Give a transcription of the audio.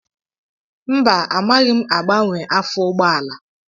Mba, amaghị m agbanwe afọ ụgbọala